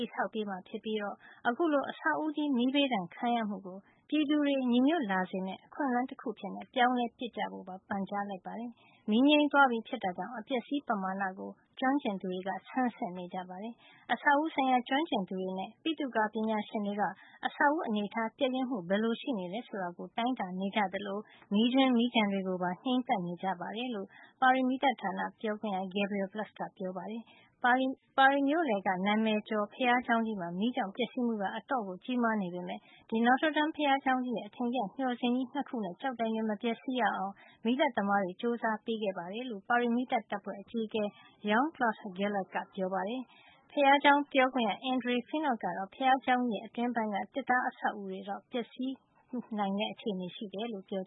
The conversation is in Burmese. ည်ဆောက်ပေးမှာ ဖြစ်ပြီး အခုလို အဆောက်ဦးကြီး မီးဘေးဒဏ်ခံရမှုကို ပြည်သူတွေညီညွတ်လာစေမယ့် အခွင့်အလန်းတခု အဖြစ် ပြောင်းလဲပစ်ကြဖို့ပါ ပန်ကြားလိုက်ပါတယ်။ မီးငြိမ်းသွားပြီဖြစ်တာကြောင့် အပျက်အစီး ပမာဏကို ကျွမ်းကျင်သူတွေ ဆန်းစစ်နေကြပါတယ်။ အဆောက်အဦး ဆိုင်ရာ ကျွမ်းကျင်သူတွေနဲ့ ပိသုကာ ပညာရှင်တွေက အဆောက်အဦးအနေထား ပျက်ယွင်းမှုဘယ်လို ရှိနေတယ်ဆိုတာကို တိုင်းတာနေကြသလို မီးကြွင်း မီးကျန်တွေကို ပါ ငြိမ်းသတ်နေကြတယ်လို့ ပါရီမီးသတ်ဌာန ပြောခွင့်ရ Gabriel Plus ကပြောပါတယ်။ ပါရီမြို့လယ်က နာမည်ကျော် ဘုရားကျောင်းကြီးမှာ မီးကြောင့် ပျက်စီးမှုက အတော်ကြီးမားနေပေမယ့် Notre Dame ဘုရားကျောင်းကြီးရဲ့ အထင်ကရ မျှော်စင်ကြီး ၂ ခုနဲ့ ကျောက်တိုင်တွေ မပျက်စီးရအောင် မီးသတ်သမားတွေ ကြိုးစားပေးခဲ့တယ်လို့ ပါရီမီးသတ်တပ်ဖွဲ့ အကြီးအကဲ Jean-Claude Gallet က ပြောပါတယ်။ ဘုရားကျောင်းပြောခွင့်ရ Andre Finot ကတော့ ဘုရားကျောင်း အတွင်းပိုင်းက သစ်သားတွေ ပျက်စီးနိုင်ချေရှိတယ်လို့ ပြော